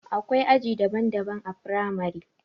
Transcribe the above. Akwai aji daban daban a firamare